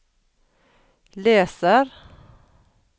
leser